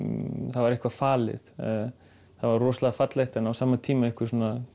það var eitthvað falið það var rosalega fallegt en á sama tíma einhver